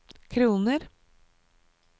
kroner